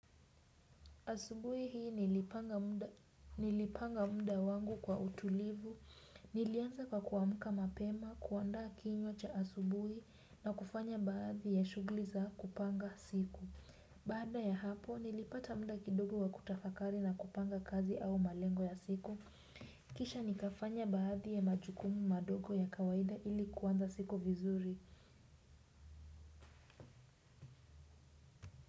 Asubui hii nilipanga mda wangu kwa utulivu, nilianza kwa kuamuka mapema, kuandaa kinywa cha asubui na kufanya baadhi ya shugli za kupanga siku. Baada ya hapo, nilipata mda kidogo wa kutafakari na kupanga kazi au malengo ya siku. Kisha nikafanya baadhi ya majukumu madogo ya kawaida ili kuanza siku vizuri.